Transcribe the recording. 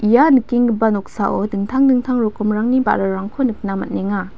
ia nikenggipa noksao dingtang dingtang rokomrangni ba·rarangko nikna man·enga.